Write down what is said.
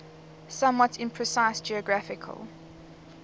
somewhat imprecise geographical